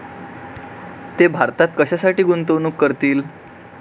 ते भारतात कशासाठी गुंतवणूक करतील?